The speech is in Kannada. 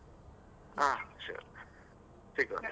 ಆ sure , ಸಿಗುವ.